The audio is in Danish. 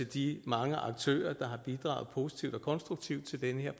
de mange aktører der har bidraget positivt og konstruktivt til den her